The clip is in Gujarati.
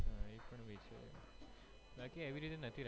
બાકી એવી રીતે નથી